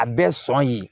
A bɛɛ sɔn ye